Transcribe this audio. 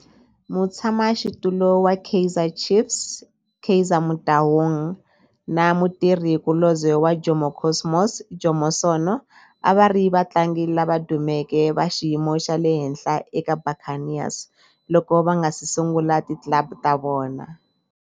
Mutshama xitulu wa Kaizer Chiefs Kaizer Motaung na mutirhi kulobye wa Jomo Cosmos Jomo Sono a va ri vatlangi lava dumeke va xiyimo xa le henhla eka Buccaneers loko va nga si sungula ti club ta vona.